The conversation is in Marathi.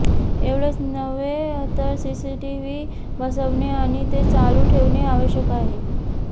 एवढेच नव्हे तर सीसीटीव्ही बसवणे आणि ते चालू ठेवणे आवश्यक आहे